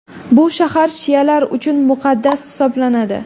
Bu shahar shialar uchun muqaddas hisoblanadi.